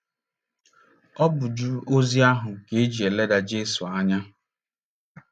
Ọ bụ ju ozi ahụ ka e ji e leda Jesu anya.